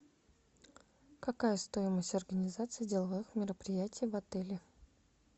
какая стоимость организации деловых мероприятий в отеле